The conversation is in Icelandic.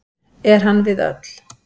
Er hann við öll.